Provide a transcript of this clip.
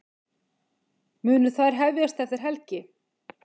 Munu þær hefjast eftir helgi